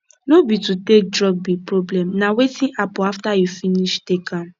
no be to take drug be problem na wetin happen after you finish take am